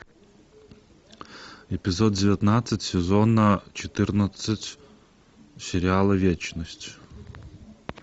эпизод девятнадцать сезона четырнадцать сериала вечность